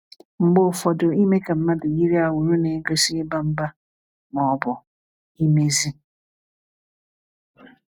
Mgbe ụfọdụ ime ka mmadụ yiri awuru n'egosi iba mba, ma ọ bụ imezi.